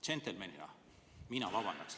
Džentelmenina mina vabandaks.